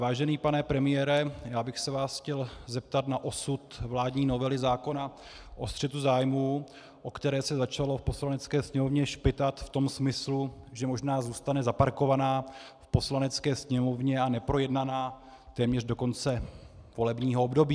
Vážený pane premiére, já bych se vás chtěl zeptat na osud vládní novely zákona o střetu zájmů, o které se začalo v Poslanecké sněmovně špitat v tom smyslu, že možná zůstane zaparkovaná v Poslanecké sněmovně a neprojednaná téměř do konce volebního období.